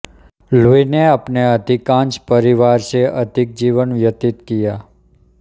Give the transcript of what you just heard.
Louis ने अपने अधिकांश परिवार से अधिक जीवन व्यतीत किया